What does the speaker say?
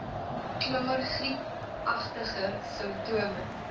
klaar griepagtige simptome